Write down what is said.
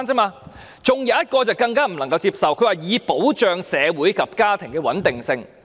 還有一項更不能接受的，她說"以保障社會及家庭的穩定性"。